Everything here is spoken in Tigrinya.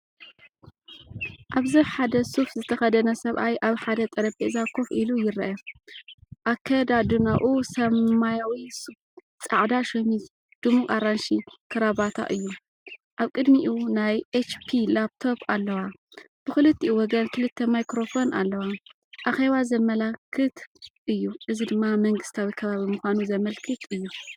ኣብዚ ሓደ ሱፍ ዝተኸድነ ሰብኣይ ኣብ ሓደ ጠረጴዛ ኮፍ ኢሉ ይርአ። ኣከዳድናኡ ሰማያዊ ሱፍ፡ጻዕዳ ሸሚዝ፡ድሙቕ ኣራንሺ ክራቫታ እዩ። ኣብ ቅድሚኡ ናይ HP ላፕቶፕ ኣለዋ፡ብኽልቲኡ ወገን ክልተ ማይክሮፎን ኣለዋ፡ኣኼባ ዘመልክት እዩ። እዚ ድማ መንግስታዊ ከባቢ ምዃኑ ዘመልክት እዩ።